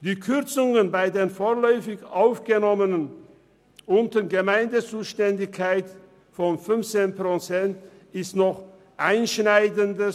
Die Kürzungen bei den vorläufig Aufgenommenen unter Gemeindezuständigkeit von 15 Prozent sind noch einschneidender.